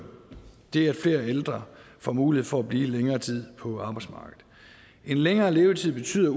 det at flere ældre får mulighed for at blive længere tid på arbejdsmarkedet en længere levetid betyder